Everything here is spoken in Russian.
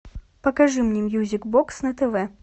покажи мне мьюзик бокс на тв